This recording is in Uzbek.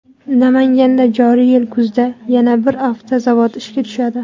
Namanganda joriy yil kuzida yana bir avtozavod ishga tushadi.